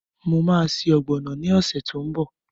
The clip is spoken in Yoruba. Mo ma se ọ̀gbọ̀nọ̀ ni ọ̀sẹ̀ tó ń bọ̀